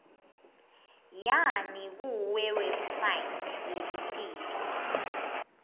yani kuwebsite yelitiko